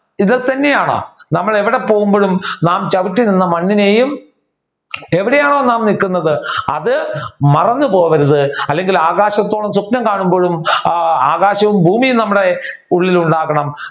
ഇത് തന്നെയാണ് നമ്മൾ എവിടെ പോവുമ്പോഴും നാം ചവിട്ടി നിന്ന മണ്ണിനെയും എവിടെയാണോ നാം നിക്കുന്നത് അത് മറന്നു പോകരുത് അല്ലെങ്കിൽ ആകാശത്തോളം സ്വപ്നം കാണുമ്പോഴും ആകാശവും ഭൂമിയും നമ്മുടെ ഉള്ളിൽ ഉണ്ടാകണം